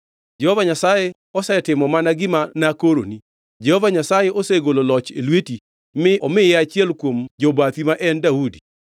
Jehova Nyasaye osetimo mana gima nakoroni. Jehova Nyasaye osegolo loch e lweti mi omiye achiel kuom jobathi ma en Daudi.